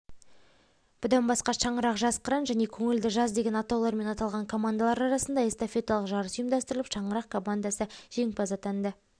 бұдан басқа шаңырақ жас қыран және көңілді жаз деген атаулармен аталған командалар арасында эстафеталық жарыс ұйымдастырылып шаңырақ командасы жеңімпаз атанды